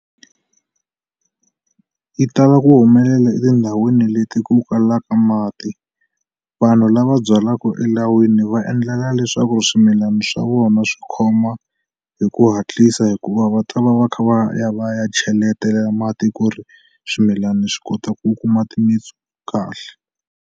Yi tala ku humelela etindhawini leti ku kalaka mati vanhu lava byalaku elawini va endlela leswaku swimilani swa vona swi khoma hi ku hatlisa hikuva va ta va va kha va ya va ya cheletela mati ku ri swimilani swi kota ku kuma timitsu kahle.